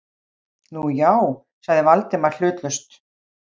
Nú, já- sagði Valdimar hlutlaust.